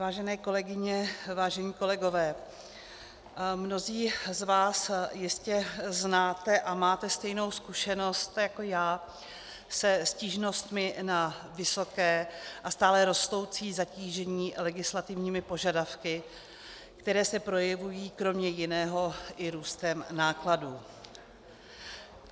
Vážené kolegyně, vážení kolegové, mnozí z vás jistě znáte a máte stejnou zkušenost jako já se stížnostmi na vysoké a stále rostoucí zatížení legislativními požadavky, které se projevují kromě jiného i růstem nákladů.